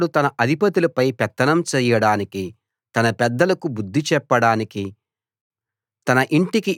ఇష్టప్రకారం అతడు తన అధిపతులపై పెత్తనం చెయ్యడానికి తన పెద్దలకు బుద్ధి చెప్పడానికి